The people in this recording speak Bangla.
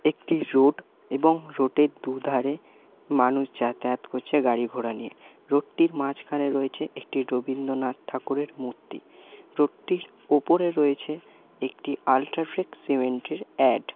একটি রোড এবং রোড এর দুই ধারে মানুষ যাতায়াত করছে গাড়ি-ঘোড়া নিয়ে। রোড টির মাঝখানে রয়েছে একটি রবীন্দ্রনাথ ঠাকুরের মূর্তি। রোড টির উপরে রয়েছে একটি আলট্রাফিক্স সিমেন্ট এর অ্যাড।